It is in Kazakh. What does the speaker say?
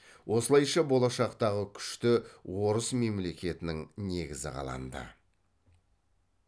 осылайша болашақтағы күшті орыс мемлекетінің негізі қаланды